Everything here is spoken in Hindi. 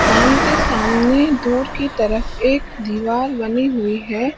बांध के सामने दूर की तरफ एक दीवार बनी हुई है।